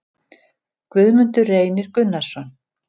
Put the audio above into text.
Guðmundur Reynir Gunnarsson